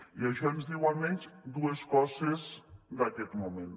i això ens diu almenys dues coses d’aquest moment